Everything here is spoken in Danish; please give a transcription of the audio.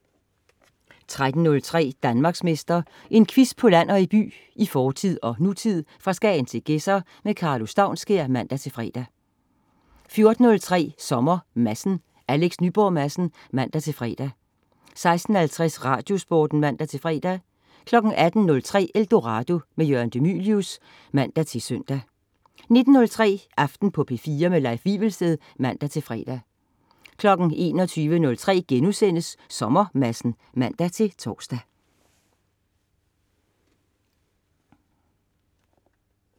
13.03 Danmarksmester. En quiz på land og by, i fortid og nutid, fra Skagen til Gedser. Karlo Staunskær (man-fre) 14.03 Sommer Madsen. Alex Nyborg Madsen (man-fre) 16.50 Radiosporten (man-fre) 18.03 Eldorado. Jørgen de Mylius (man-søn) 19.03 Aften på P4. Leif Wivelsted (man-fre) 21.03 Sommer Madsen* (man-tors)